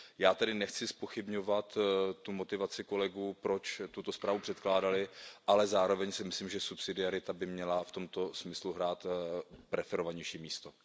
Já tady nechci zpochybňovat motivaci kolegů, proč tuto zprávu předkládali, ale zároveň si myslím, že subsidiarita by měla v tomto smyslu hrát preferovanější místo.